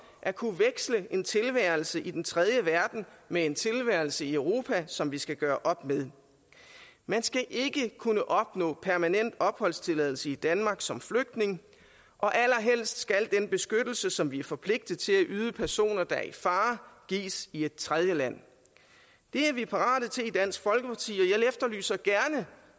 at kunne veksle en tilværelse i den tredje verden med en tilværelse i europa som vi skal gøre op med man skal ikke kunne opnå permanent opholdstilladelse i danmark som flygtning og allerhelst skal den beskyttelse som vi er forpligtet til at yde personer der er i fare gives i et tredje land det er vi parate til i dansk folkeparti